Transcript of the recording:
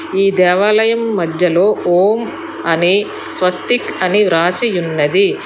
ఈ దేవాలయం మధ్యలో ఓం అని స్వస్తిక్ అని వ్రాసియున్నది.